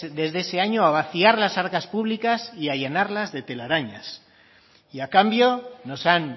desde ese año a vaciar las arcas públicas y allanarlas de telarañas y a cambio nos han